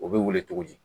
O bɛ wele cogo di